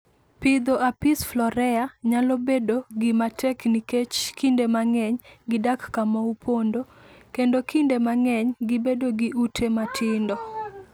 Pidho Apis florea nyalo bedo gima tek nikech kinde mang'eny gidak kama opondo, kendo kinde mang'eny gibedo gi ute matindo.